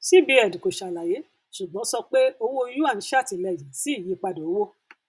cbn kò ṣàlàyé ṣùgbọn sọ pé owó yuan ṣàtìlẹyìn sí ìyípadà owó